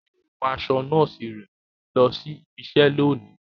Yóò wọ aṣọ nọọsi rẹ lọ sí ìbi iṣẹ lóni